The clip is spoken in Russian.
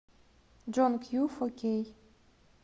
джон кью фо кей